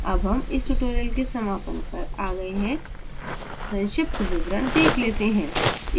अब हम इस tutorial के समापन पर आ गए हैं संक्षिप्त विवरण let let हैं